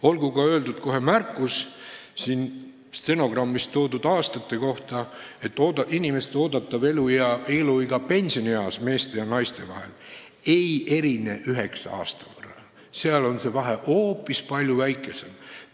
Olgu ka stenogrammi huvides öeldud märkus siin nimetatud aastate kohta: meeste ja naiste keskmine eeldatav eluiga ei erine üheksa aasta võrra, see vahe on hoopis palju väiksem.